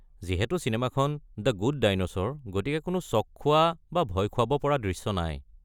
যিহেতু চিনেমাখন the good dinosaur, গতিকে কোনো চঁক খোৱা বা ভয় খুৱাব পৰা দৃশ্য নাই।